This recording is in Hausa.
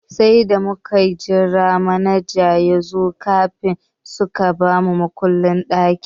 Sai da muka jira manajan yazo kafin suka ba mu makullin ɗakin.